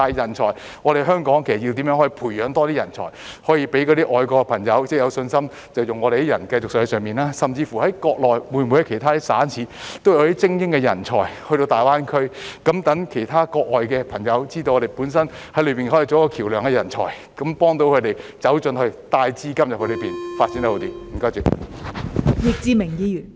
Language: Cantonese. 但是，香港應怎樣培養更多人才，讓外國的朋友有信心繼續在國內聘用香港人，甚至國內其他省市會否也有些精英到大灣區，讓其他國外的朋友知道香港的人才可以在國內作為橋樑，幫助他們走進去，帶資金到國內，發展得更好？